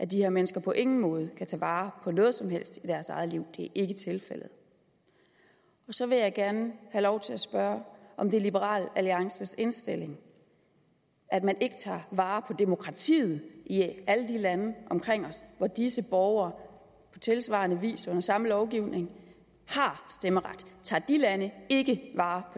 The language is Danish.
de her mennesker på ingen måde kan tage vare på noget som helst i deres eget liv det er ikke tilfældet så vil jeg gerne have lov til at spørge om det er liberal alliances indstilling at man ikke tager vare på demokratiet i alle de lande omkring os hvor disse borgere på tilsvarende vis og under samme lovgivning har stemmeret tager de lande ikke vare